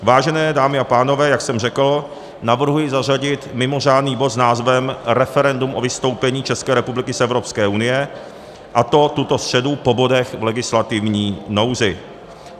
Vážené dámy a pánové, jak jsem řekl, navrhuji zařadit mimořádný bod s názvem Referendum o vystoupení České republiky z Evropské unie, a to tuto středu po bodech v legislativní nouzi.